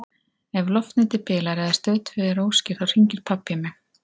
Ef loftnetið bilar eða Stöð tvö er óskýr þá hringir pabbi í mig.